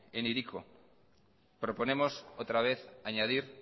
en hiriko proponemos otra vez añadir